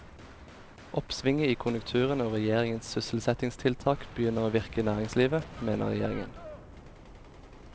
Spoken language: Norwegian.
Oppsvinget i konjunkturene og regjeringens sysselsettingstiltak begynner å virke i næringslivet, mener regjeringen.